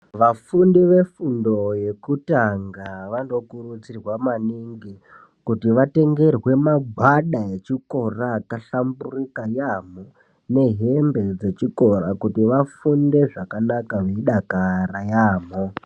Vafundi vefundo yekutanga vqnokurudzirwa maningi kuti vatengerwe magwada akahlamburika nehembe dzechikora kuti vafunde zvakanaka vechidakara yaamho.